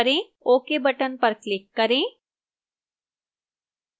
ok button पर click करें